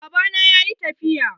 Baba na yayi tafiya.